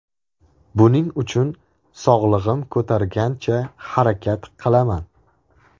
Buning uchun sog‘lig‘im ko‘targancha harakat qilaman.